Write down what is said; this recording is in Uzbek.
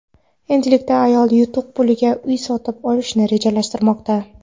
Endilikda ayol yutuq puliga uy sotib olishni rejalashtirmoqda.